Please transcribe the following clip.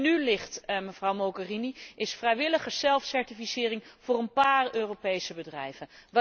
Wat er nu ligt, mevrouw Mogherini, is vrijwillige zelfcertificering voor een paar Europese bedrijven.